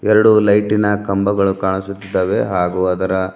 ಎರಡು ಲೈಟಿನ ಕಂಬಗಳು ಕಾಣಿಸುತ್ತಿದ್ದಾವೆ ಹಾಗೂ ಅದರ--